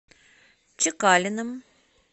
чекалиным